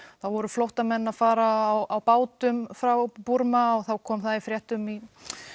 voru flóttamenn að fara á bátum frá Búrma og þá kom það í fréttum í